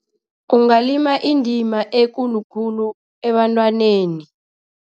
Kungalima indima ekulu khulu ebantwaneni.